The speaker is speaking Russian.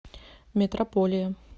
метрополия